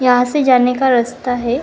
यहां से जाने का रास्ता है।